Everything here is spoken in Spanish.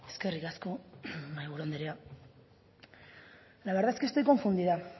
eskerrik asko mahaiburu andrea la verdad es que estoy confundida